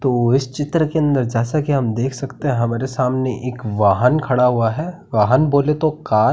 तो इस चित्र के अंदर जैसे की हम देख सकते हैं की हमारे सामने एक वाहन खड़ा हुआ है वाहन बोले तो कार ।